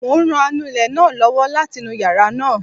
Mo ń ran anulẹ̀ náà lọ́wọ́ láti nu yàrá náà